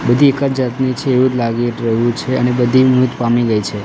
બધી એકજ જાતની છે એવુ લાગી રહ્યુ છે અને બધી મૃત પામી ગઈ છે.